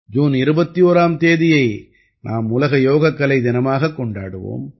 June 21ஆம் தேதியை நாம் உலக யோகக்கலை தினமாகக் கொண்டாடுவோம்